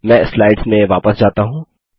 मैं स्लाइड्स में वापस जाता हूँ